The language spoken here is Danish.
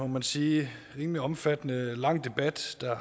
man sige rimelig omfattende og lang debat der